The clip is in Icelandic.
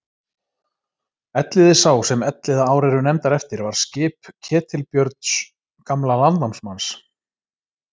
Elliði sá sem Elliðaár eru nefndar eftir var skip Ketilbjörns gamla landnámsmanns.